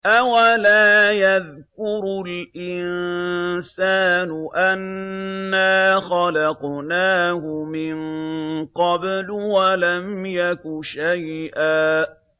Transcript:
أَوَلَا يَذْكُرُ الْإِنسَانُ أَنَّا خَلَقْنَاهُ مِن قَبْلُ وَلَمْ يَكُ شَيْئًا